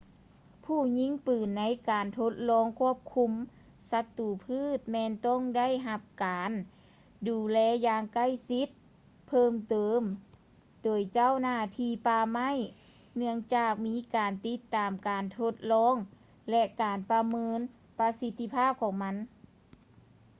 ຜູ້ຍິງປືນໃນການທົດລອງຄວບຄຸມສັດຕູພືດ ແມ່ນຕ້ອງໄດ້ຮັບການດູແລຢ່າງໃກ້ຊິດເພີ່ມເຕີມໂດຍເຈົ້າໜ້າທີ່ປ່າໄມ້ ເນື່ອງຈາກມີການຕິດຕາມການທົດລອງ ແລະ ການປະເມີນປະສິດທີພາບຂອງມັນ